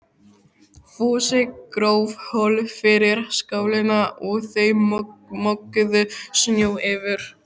Fúsi gróf holu fyrir skálina og þau mokuðu snjó yfir.